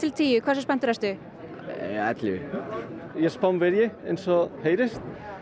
tíu hversu spenntur ertu uuu ellefu ég er Spánverji eins og heyrist